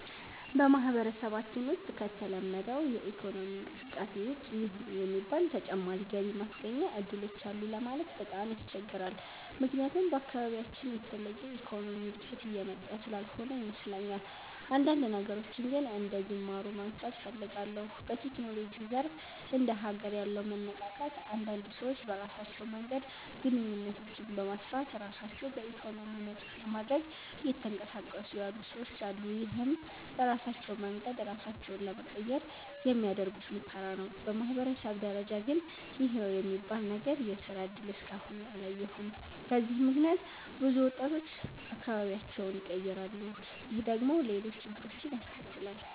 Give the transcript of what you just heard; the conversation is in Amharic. በማህበረሰባችን ውሰጥ ከተለመደው የኢኮኖሚ እንቅስቃሴ ውጭ ይህ ነው የሚባል ተጨማሪ ገቢ ማስገኛ እድሎች አሉ ለማለት በጣም ያስቸግራል። ምክያቱም በአካባቢያችን የተለየ የኢኮኖሚ እድገት እየመጣ ስላልሆነ ይመስለኛል። አንዳንድ ነገሮችን ግን አንደጅማሮ ማንሳት እፈልጋለሁ። በቴክኖሎጂው ዘርፍ እንደ ሀገር ያለው መነቃቃት አንዳንድ ሰዎች በራሳቸው መንገድ ግንኙነቶችን በማስፋት ራሳቸው በኢኮኖሚ ነፃ ለማድረግ እየተንቀሳቀሱ ያሉ ሰወች አሉ። ይህም በራሳቸው መንገድ ራሳቸውን ለመቀየር የሚያደርጉት ሙከራ ነው። በማህበረሰብ ደረጃ ግን ይህ ነው የሚባል ነገር የስራ እድል እስከ አሁን አላየሁም። በዚህም ምክንያት ብዙ ወጣቶች አካባቢያቸውን ይቀራሉ። ይህ ደግሞ ሌሎች ችግሮችን ያስከትላል።